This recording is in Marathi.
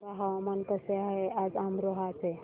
सांगा हवामान कसे आहे आज अमरोहा चे